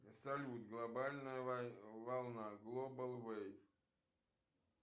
салют глобальная волна глобал вэй